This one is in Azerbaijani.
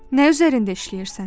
Nə üzərində işləyirsən?